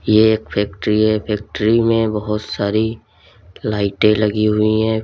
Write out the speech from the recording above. एक फैक्ट्री है फैक्ट्री में बहुत सारी लाइटें लगी हुई हैं।